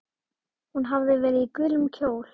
Hún hafði verið í gulum kjól.